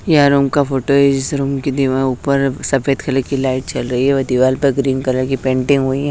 यह रूम का फोटो इस रूम की दीवार ऊपर सफेद कलर की लाइट जल रही है और दीवार पर ग्रीन कलर की पेंटिंग हुई है।